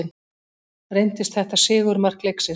Reyndist þetta sigurmark leiksins.